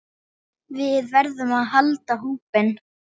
Við verðum að halda hópinn!